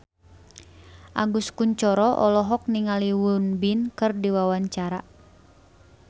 Agus Kuncoro olohok ningali Won Bin keur diwawancara